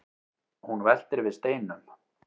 hún veltir við steinum